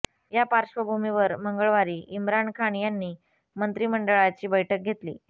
या पार्श्वभूमीवर मंगळवारी इम्रान खान यांनी मंत्रिमंडळाची बैठक घेतली